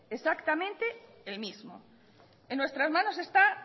exactamente el mismo en nuestras manos está